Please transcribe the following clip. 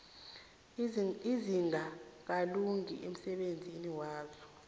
ezingakalungi emsebenzini waso